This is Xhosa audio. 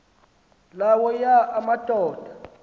la wona amadoda